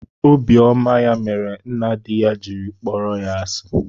Obiọma ya mere nna di ya jiri kpọrọ ya asi